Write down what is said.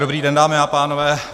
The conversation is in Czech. Dobrý den, dámy a pánové.